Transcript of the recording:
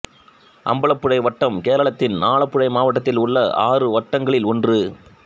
அம்பலப்புழை வட்டம் கேரளத்தின் ஆலப்புழை மாவட்டத்தில் உள்ள ஆறு வட்டங்களில் ஒன்று